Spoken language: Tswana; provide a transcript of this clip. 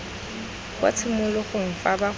kwa tshimologong fa ba gola